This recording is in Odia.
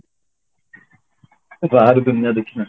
ବାହାର ଦୁନିଆ ଦେଖିନାହାନ୍ତି